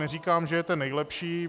Neříkám, že je ten nejlepší.